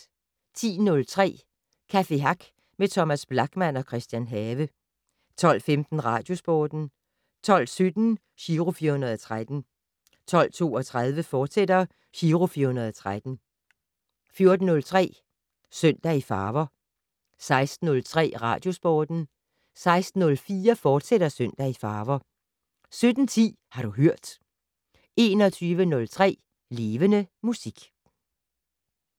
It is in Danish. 10:03: Café Hack med Thomas Blachman og Christian Have 12:15: Radiosporten 12:17: Giro 413 12:32: Giro 413, fortsat 14:03: Søndag i farver 16:03: Radiosporten 16:04: Søndag i farver, fortsat 17:10: Har du hørt 21:03: Levende Musik